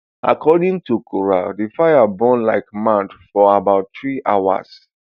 according to kaura di fire burn like mad for about three hours